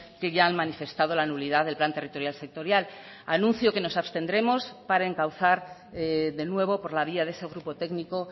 que ya han manifestado la nulidad del plan territorial sectorial anuncio que nos abstendremos para encauzar de nuevo por la vía de ese grupo técnico